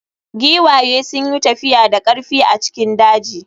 Giwaye sun yi tafiya da ƙarfi a cikin daji.